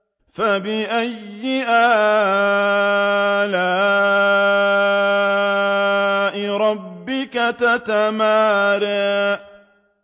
فَبِأَيِّ آلَاءِ رَبِّكَ تَتَمَارَىٰ